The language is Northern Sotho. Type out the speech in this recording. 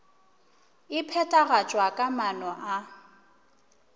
e phethagatšwa ka maano a